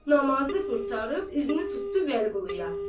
Namazı qurtarıb üzünü tutdu Vəliquluya.